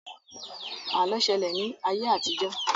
Àlọ́ ṣẹlẹ̀ ní ayé àtijọ́